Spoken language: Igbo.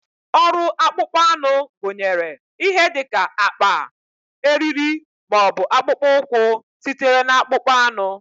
Ọrụ akpụkpọ anụ gụnyere ihe dị ka akpa, eriri, ma ọ bụ akpụkpọ ụkwụ sitere na akpụkpọ anụ.